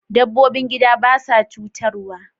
Dabbobin gida ba sa cutarwa.